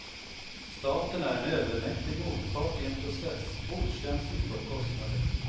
Staten är en övermäktig motpart i en process, okänslig för kostnader.